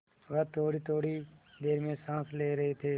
वह थोड़ीथोड़ी देर में साँस ले रहे थे